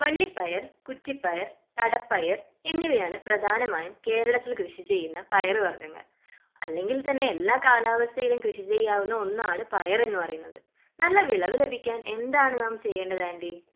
വള്ളിപ്പയർ കുറ്റിപ്പയർ തടപ്പയർ എന്നിവയാണ് പ്രധാനമായും കേരളത്തിൽ കൃഷി ചെയ്യുന്ന പയറുവർഗ്ഗങ്ങൾ അല്ലെങ്കിൽ തന്നെ എല്ലാ കാലാവസ്ഥയിലും കൃഷി ചെയ്യാവുന്ന ഒന്നാണ് പയർ എന്ന് പറയുന്നത്. നല്ല വിളവ് ലഭിക്കാൻ എന്താണ് നാം ചെയ്യേണ്ടത് ആൻ്റി?